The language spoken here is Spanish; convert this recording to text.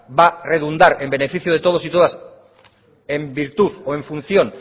va redundar en beneficio de todos y todas en virtud o en función